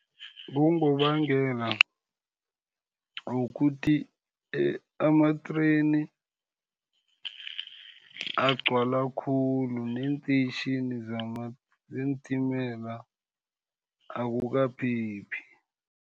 Kungobangela wokuthi ama-train agcwala khulu, neenteyitjhini zeentimela akukaphephi.